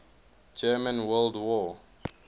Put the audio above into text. german world war